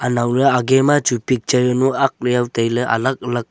anow ley age ma chu picture jawnu aak jaw tailey alag alag--